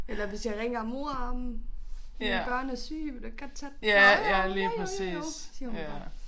Eller hvis jeg ringer mor mine børn er syge vil du ikke godt tage dem åh jo jo jo jo jo jo siger hun bare